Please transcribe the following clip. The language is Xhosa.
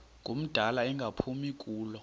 ngumdala engaphumi kulo